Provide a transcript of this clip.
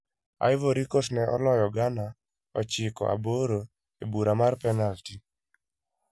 Ivory Coast ne oloyo Ghana ochiko aboro e bura mar penalty.